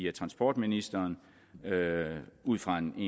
af transportministeren ud fra en